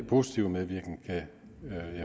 positive medvirken kan jeg